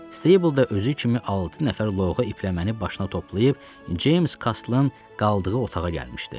Stable da özü kimi altı nəfər loğa ipləməni başına toplayıb Ceyms Kaslın qaldığı otağa gəlmişdi.